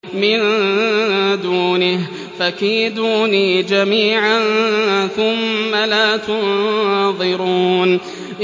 مِن دُونِهِ ۖ فَكِيدُونِي جَمِيعًا ثُمَّ لَا تُنظِرُونِ